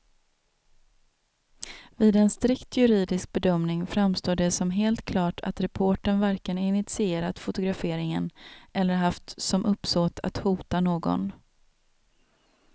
Vid en strikt juridisk bedömning framstår det som helt klart att reportern varken initierat fotograferingen eller haft som uppsåt att hota någon.